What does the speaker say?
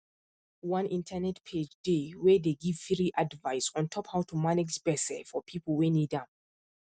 one internet page dey wey dey give free advice ontop how to manage gbese for people wey need am